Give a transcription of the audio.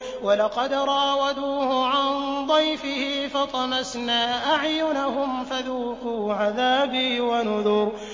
وَلَقَدْ رَاوَدُوهُ عَن ضَيْفِهِ فَطَمَسْنَا أَعْيُنَهُمْ فَذُوقُوا عَذَابِي وَنُذُرِ